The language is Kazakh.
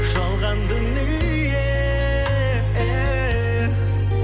жалған дүние